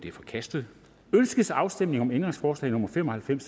er forkastet ønskes afstemning om ændringsforslag nummer fem og halvfems